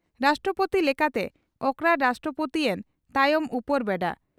ᱨᱟᱥᱴᱨᱚᱯᱳᱛᱤ ᱞᱮᱠᱟᱛᱮ ᱚᱠᱨᱟᱲ ᱨᱟᱥᱴᱨᱚᱯᱳᱛᱤᱭᱮᱱ ᱛᱟᱭᱚᱢ ᱩᱯᱚᱨᱵᱮᱰᱟ